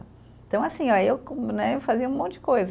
Então, assim ó, eu né fazia um monte de coisa.